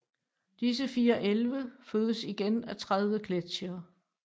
Disse fire älve fødes igen af 30 gletsjere